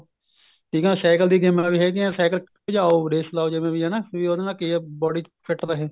ਠੀਕ ਏ cycle ਦੀ ਗੇਮਾ ਵੀ ਹੈਗੀਆਂ cycle ਭਜਾਉ ਜਿਵੇਂ ਵੀ race ਲਾਉ ਹਨਾ ਵੀ ਉਹਦੇ ਨਾਲ ਕੀ ਏ body fit ਰਹੇ